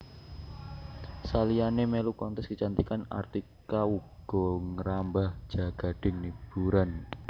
Saliyané mèlu kontes kecantikan Artika uga ngrambah jagading hiburan